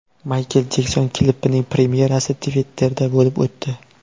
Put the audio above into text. Maykl Jekson klipining premyerasi Twitter’da bo‘lib o‘tdi.